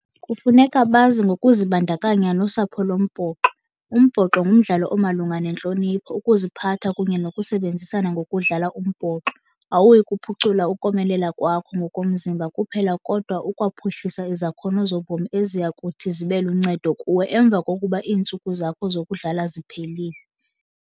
Kufuneka bazi ngokuzibandakanya nosapho lombhoxo. Umbhoxo ngumdlalo omalunga nentlonipho, ukuziphatha kunye nokusebenzisana. Ngokudlala umbhoxo awuyi kuphucula ukomelela kwakho ngokomzimba kuphela, kodwa ukwaphuhlisa izakhono zobomi eziya kuthi zibe luncedo kuwe emva kokuba iintsuku zakho zokudlala ziphelile.